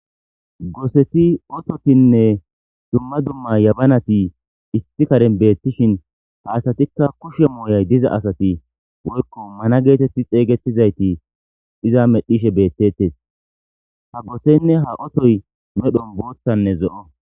Goseti ototinne dumma dumma yabanati isti karen beettishin ha asatikka kushe mooyay diza asati woykko mana geetetti xeeygettizayti iza medhishe beettetes ha gosenne ha otoy medhon boothtanne zo7o